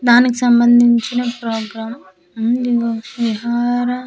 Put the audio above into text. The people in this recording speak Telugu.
దానికి సంబందించిన ప్రోగ్రామ్ అన్లిగో విహార .